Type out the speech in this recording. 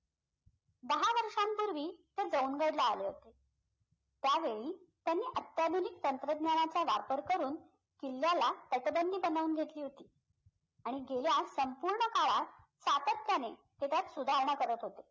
दहा वर्षांपूर्वी ते गड ला आले होते त्यावेळी त्यांनी अत्याधुनिक तंत्रज्ञानाचा वापर करून किल्ल्याला घेतली होती आणि गेल्या संपूर्ण काळात सातत्याने तेच्यात सुधारणा करत होते